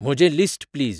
म्हजें list please